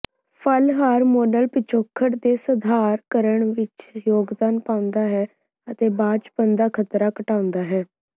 ਫਲ ਹਾਰਮੋਨਲ ਪਿਛੋਕੜ ਦੇ ਸਧਾਰਣਕਰਨ ਵਿੱਚ ਯੋਗਦਾਨ ਪਾਉਂਦਾ ਹੈ ਅਤੇ ਬਾਂਝਪਨ ਦਾ ਖਤਰਾ ਘਟਾਉਂਦਾ ਹੈ